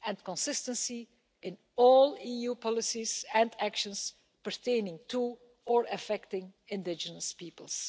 consistency in all EU policies and actions pertaining to or affecting indigenous peoples.